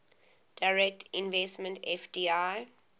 direct investment fdi